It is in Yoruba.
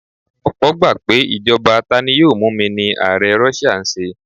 Ọ̀pọ́ gbà pé ìjọba tani-yóò-múni ni ààrẹ Russia ń ṣe.